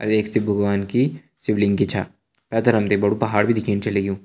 अर एक शिव भगवान की शिवलिंग की छ पैथर हम ते बड़ु पहाड़ भी दिखेण छ लग्युं।